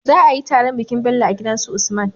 Za ayi taron bikin Bello a gidan su usman